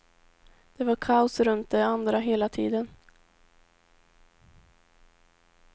Det var kaos runt de andra hela tiden.